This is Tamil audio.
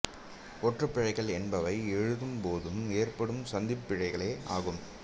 ஒற்றுப் பிழைகள் என்பவை எழுதும்போது ஏற்படும் சந்திப் பிழைகளே ஆகும்